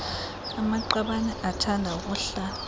amaqabane athanda ukuhlala